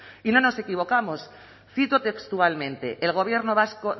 y no nos equivocamos cito textualmente el gobierno vasco